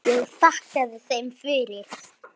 Ég þakkaði þeim fyrir.